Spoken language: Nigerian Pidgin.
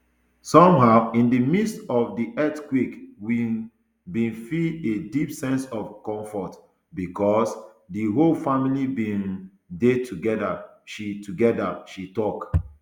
somehow in di midst of di earthquake we um bin feel a deep sense of comfortbecos di whole family bin um dey togeda she togeda she tok